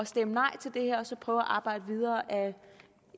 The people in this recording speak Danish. stemme nej til det her og så prøve at arbejde videre